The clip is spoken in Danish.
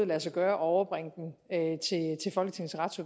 lade sig gøre og overbringe